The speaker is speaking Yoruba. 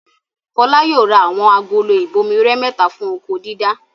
Fọlá yóò ra àwọn agolo ìbomirẹ mẹ́ta fún oko-dídá.